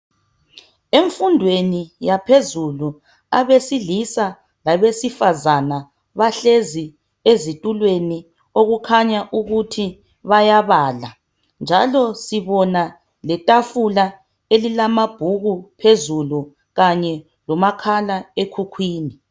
emfundweni yaphezulu abesilisa labesifazana bahlezi ezitulweni okukhanya ukuthi bayabala njalo sibona itafula elilamabhuku kanye lomakhala ekhukhwini